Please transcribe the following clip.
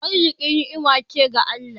Arziƙi ni'ima ce daga Allah.